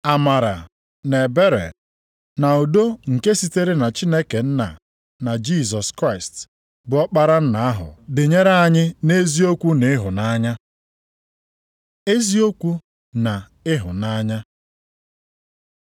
Amara, na ebere, na udo nke sitere na Chineke Nna na Jisọs Kraịst, bụ Ọkpara Nna ahụ dịnyere anyị nʼeziokwu nʼịhụnanya. Eziokwu na ịhụnanya